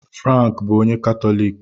Frank bụ onye Katọlik